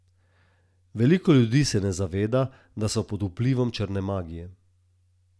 Veliko ljudi se ne zaveda, da so pod vplivom črne magije.